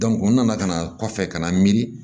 u nana ka na kɔfɛ ka na miiri